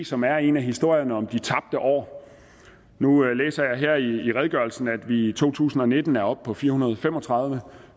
som er en af historierne om de tabte år nu læser jeg her i redegørelsen at vi i to tusind og nitten er oppe på fire hundrede og fem og tredive